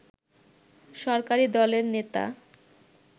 সরকারি দলের নেতা